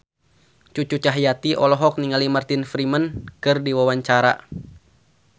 Cucu Cahyati olohok ningali Martin Freeman keur diwawancara